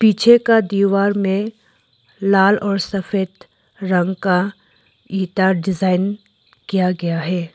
पीछे का दीवार में लाल और सफेद रंग का ईटा डिजाइन किया गया है।